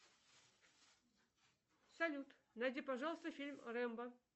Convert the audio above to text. салют найди пожалуйста фильм рэмбо